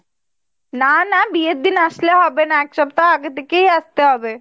না না বিয়ের দিন আসলে হবে না একসপ্তাহ আগের থেকেই আসতে হবে।